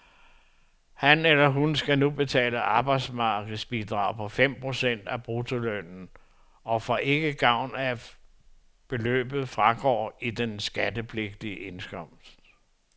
Han eller hun skal nu betale arbejdsmarkedsbidrag på fem procent af bruttolønnen, og får ikke gavn af, at beløbet fragår i den skattepligtige indkomst.